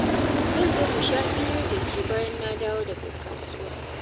Zan zo mu sha hira da ke bayan na dawo daga kasuwa.